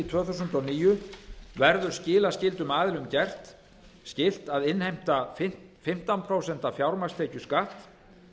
tvö þúsund og níu verður skilaskyldum aðilum gert skylt að innheimta fimmtán prósent fjármagnstekjuskatt